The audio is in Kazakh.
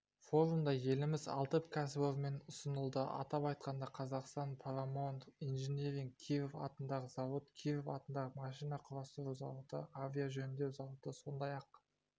форумда еліміз алты кәсіпорынмен ұсынылды атап айтқанда қазақстан парамаунт инжиниринг киров атындағы зауыт киров атындағы машина құрастыру зауыты авиажөндеу зауыты сондай-ақ